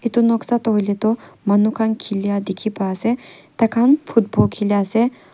etu noksa to huileh du manu khan khilia dikhi pai asey taikhan football khilia asey.